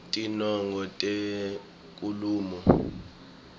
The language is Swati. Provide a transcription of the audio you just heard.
tinongo tenkhulumo